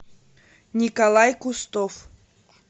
николай кустов